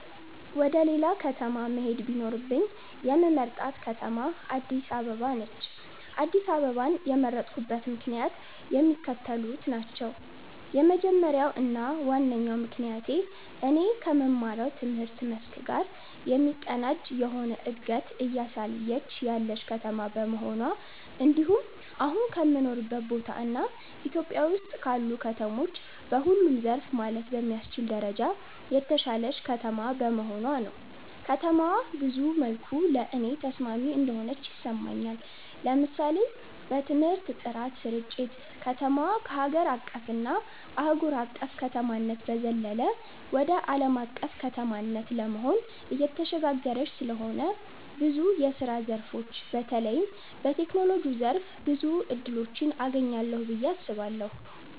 ወደ ሌላ ከተማ መሄድ ቢኖርብኝ የምመርጣት ከተማ አድስ አበባ ነች። አድስ አበባን የመረጥኩበት ምክንያትም የሚከተሉት ናቸው። የመጀመሪያው እና ዋነኛው ምክንያቴ እኔ ከምማረው ትምህርት መስክ ጋር የሚቀናጅ የሆነ እንደገት እያሳየች ያለች ከተማ በመሆኗ እንድሁም አሁን ከምኖርበት ቦታ እና ኢትዮጵያ ውስጥ ካሉ ከተሞች በሁሉም ዘርፍ ማለት በሚያስችል ደረጃ የተሻለች ከተማ በመሆኗ ነው። ከተማዋ ብዙ መልኩ ለኔ ተስማሚ እንደሆነች ይሰማኛል። ለምሳሌ በትምህርት ጥራት ስርጭት፣ ከተማዋ ከሀገር አቀፍ እና አህጉር አቅፍ ከተማነት በዘለለ ወደ አለም አቀፍ ከተማነት ለመሆን እየተሸጋገረች ስለሆነ ብዙ የስራ ዘርፎች በተለይም በቴክኖሎጂው ዘርፍ ብዙ እድሎችን አገኛለሁ ብየ አስባለሁ።